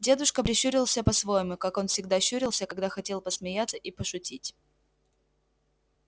дедушка прищурился по-своему как он всегда щурился когда хотел посмеяться и пошутить